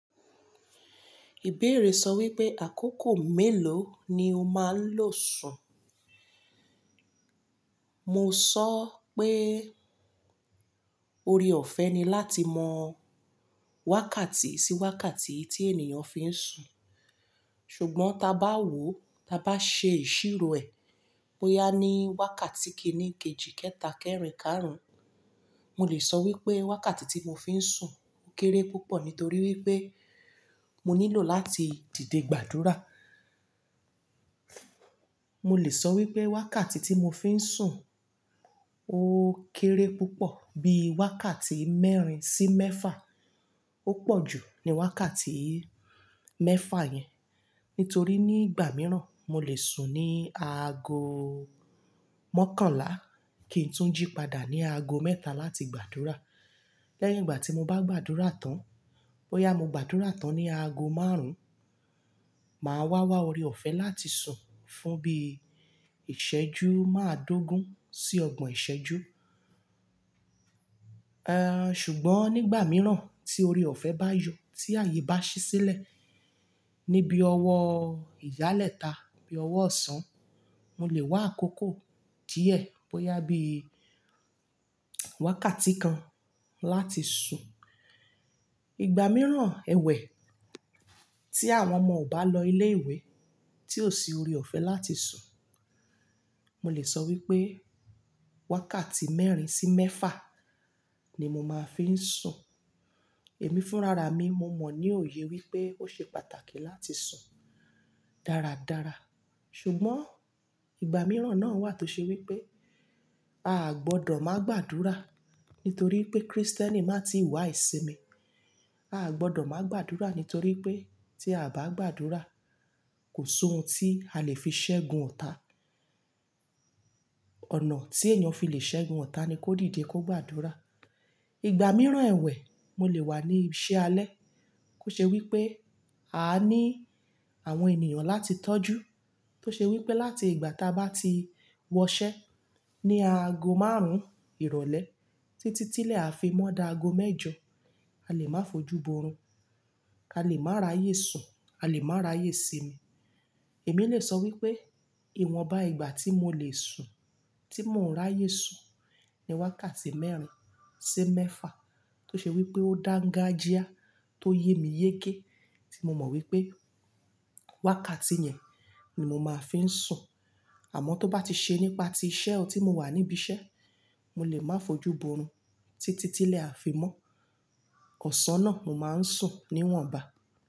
Ìbéèrè sọ wípé àkókò mélòó ni o máa ń lò sùn? Mo sọ pé, oore-ọ̀fẹ́ ni láti mọ wákàtí sí wákàtí tí ènìyàn fi ń sùn. Ṣùgbọ́n ta bá wò o, ta bá ṣe ìsírò ẹ̀, bóyá ní wákàtí kìíní, kejì, kẹta, kẹ́rin, káàrún, mo lè sọ wípé wákàtí tí mo fi ń sùn kéré púpọ̀ nítorí wípé mo nílò láti dìde gbàdúrà. Mo lè sọ wípé wákàtí tí mo fi ń sùn ó kéré púpọ̀ bí i wákàtí mẹ́rin sí mẹ́fà. Ó pọ̀ jù ní wákàtí mẹ́fà yẹn. Nítorí nígbà mìíràn, mo lè sùn ní aago mọ́kànlá kí n tún jí padà ní aago mẹ́ta láti gbàdúrà. Lẹ́yìn ìgbà tí mo bá gbàdúrà tán, bóyá mo gbàdúrà tán ní aago márùn-ún, màá wá wá ore-ọ̀fẹ́ láti sùn fún bí i ìṣẹ́jú máa dógún sí ọgbọ̀n ìṣẹ́jú. Eh, ṣùgbọ́n nígbà mìíràn tí oore-ọ̀fẹ́ bá yọ, tí àyè bá ṣí sílẹ̀ ní bii ọwọ́ ìyálẹ́ta bí ọwọ́ ọ̀sán, mo lè wá àkókò díẹ̀ bóyá bí i wákàtí kan láti sùn. Ìgbà mìíràn, ẹwẹ̀, tí àwọn ọmọ ò bá lọ ilé-ìwé, tí ò sí oore-ọ̀fẹ́ láti sùn, mo lè sọ wípé wákàtí mẹ́rin sí mẹ́fà ni mo máa fi ń sùn. Èmi fúnra ra mi, mo mọ̀ ní òye wípé ó ṣe pàtàkì láti sùn dáradára. Ṣùgbọ́n ìgbà mìíràn náà wà tó ṣe wípé a gbọdọ̀ má gbàdúrà nítorí pé Kristẹni máa ti wà ìsinmi. A gbọdọ̀ máa gbàdúrà nítorí pé tí a bá gbàdúrà, kò sohun tí a lè fi ṣẹ́gun ọ̀tá. Ọ̀nà tí ènìyàn fi lè ṣẹ́gun ọ̀tá ni kó dìde kó gbàdúrà. Ìgbà mìíràn ẹwẹ̀, mo lè wà ní iṣẹ́ alẹ́, kó ṣe wípé a ní àwọn ènìyàn láti tọ́jú, tó ṣe wípé láti ìgbà táa bá ti wọṣẹ́ ní aago márùn-ún ìrọ̀lẹ́ títí tílé a fi mọ́ daago mẹ́jọ, a lè máa fojú borún, a lè máa ráyè sùn, a lè máa ráyè sinmi. Èmi lè sọ wípé ìwọ̀nba ìgbà tí mo lè sùn, tí mò ń ráyè sùn ni wákàtí mẹ́rin sí mẹ́fà tó ṣe wípé ó dángájíá tó yé mi yéké tí mo mọ̀ wípé wákàtí yẹn ni mo máa fi ń sùn. Àmọ́ tó bá ti ṣe nípa ti iṣẹ́ o tí mo wà níbi iṣẹ́, mo lè máa fojú borún títí tílé a fi mọ́. Ọ̀sán náà mo máa ń sùn níwọ̀nba.